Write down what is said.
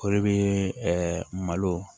O de bɛ malo